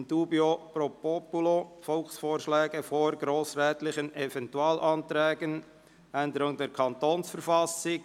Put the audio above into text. In dubio pro populo: Volksvorschläge vor grossrätlichen Eventualanträgen (Änderung der Kantonsverfassung».